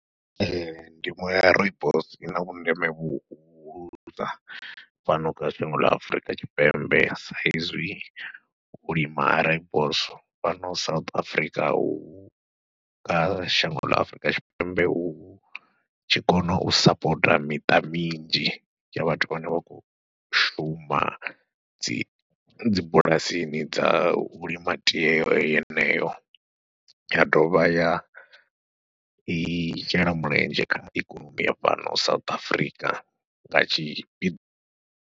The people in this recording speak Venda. Ndimo ya Rooibos i na vhundeme vhuhulusa fhano kha shango ḽa Afurika Tshipembe saizwi u lima ha Rooibos fhano South Africa hu kha shango ḽa Afurika Tshipembe hu tshi kona u sapota miṱa minzhi ya vhathu vhane vha khou shuma dzi dzibulasini dza u lima tie yeneyo, ya dovha ya i shela mulenzhe kha ikonomi ya fhano South Africa nga tshipi.